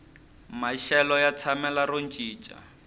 maxelo ya tshamela ro cinca